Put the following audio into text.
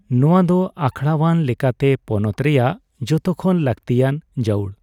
ᱱᱚᱣᱟ ᱫᱚ ᱟᱠᱷᱲᱟᱣᱟᱱ ᱞᱮᱠᱟᱛᱮ ᱯᱚᱱᱚᱛ ᱨᱮᱭᱟᱜ ᱡᱚᱛᱚ ᱠᱷᱚᱱ ᱞᱟᱹᱠᱛᱤᱭᱟᱱ ᱡᱟᱹᱣᱩᱲ ᱾